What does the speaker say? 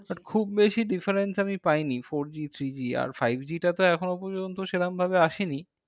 But খুব বেশি difference আমি পাইনি। four G three G আর five G টা তো এখনো পর্যন্ত সেরম ভাবে আসেনি।